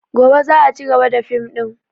Gobe za a cigaba da fim ɗin